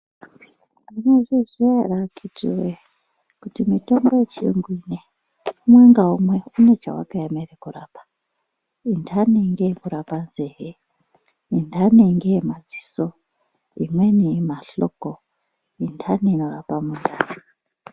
Munozviziya ere akhiti wee kuti mitombo yechiyungu inei umwe ngaumwe une chawakaemera kurapa intani ngeyekurapa nzee intani ngeyemadziso imweni mahloko intani inorapa mundani.